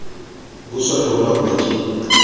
buswa le ho laolwa ke